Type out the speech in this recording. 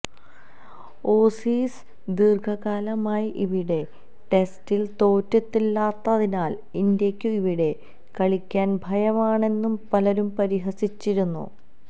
Aussies ദീര്ഘകാലമായി ഇവിടെ ടെസ്റ്റില് തോറ്റിട്ടില്ലാത്തതിനാല് ഇന്ത്യക്കു ഇവിടെ കളിക്കാന് ഭയമാണെന്നു പലരും പരിഹസിച്ചിരുന്നു